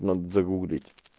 надо загуглить